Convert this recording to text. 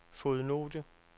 fodnote